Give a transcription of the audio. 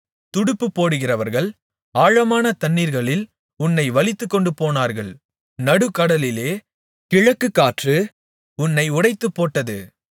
துடுப்பு போடுகிறவர்கள் ஆழமான தண்ணீர்களில் உன்னை வலித்துக் கொண்டுபோனார்கள் நடுக்கடலிலே கிழக்குக்காற்று உன்னை உடைத்துப்போட்டது